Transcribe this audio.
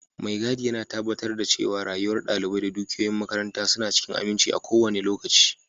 Mai gadi yana tabbatar da cewa rayuwar dalibai da dukiyoyin makaranta suna cikin aminci a kowane lokaci.